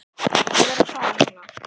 Ég verð að fara núna!